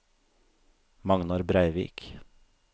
Magnar Breivik